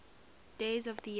days of the year